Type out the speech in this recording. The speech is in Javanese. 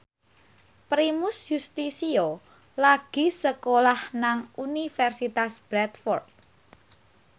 Primus Yustisio lagi sekolah nang Universitas Bradford